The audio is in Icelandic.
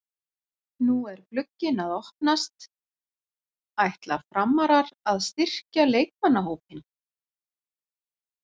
Nú er glugginn að opnast, ætla Framarar að styrkja leikmannahópinn?